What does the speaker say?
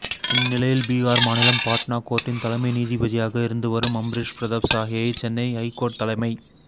இந்நிலையில் பீஹார் மாநிலம் பாட்னா கோர்ட்டின் தலைமை நீதிபதியாக இருந்து வரும் அம்ப்ரேஷ் பிரதாப் சாஹியை சென்னை ஐகோர்ட் தலைமை